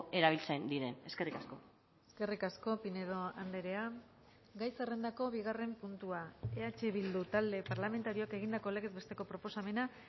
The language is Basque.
erabiltzen diren eskerrik asko eskerrik asko pinedo andrea gai zerrendako bigarren puntua eh bildu talde parlamentarioak egindako legez besteko proposamena